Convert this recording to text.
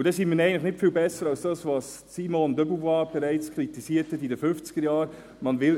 Dann sind wir eigentlich nicht viel besser als das, was Simone de Beauvoir bereits in den 1950er-Jahren kritisierte: